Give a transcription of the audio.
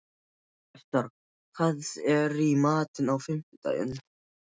Vestar, hvað er í matinn á fimmtudaginn?